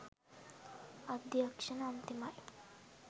අධ්‍යක්ෂණය අන්තිමයි